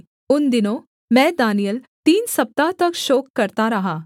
उन दिनों मैं दानिय्येल तीन सप्ताह तक शोक करता रहा